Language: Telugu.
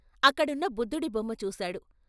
అక్కడున్న బుద్ధుడి బొమ్మ చూశాడు.